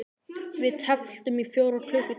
Við tefldum í fjóra klukkutíma!